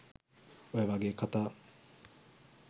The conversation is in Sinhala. ඔය වගේ කථා